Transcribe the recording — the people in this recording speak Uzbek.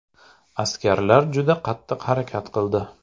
Askarlar juda qattiq harakat qildi.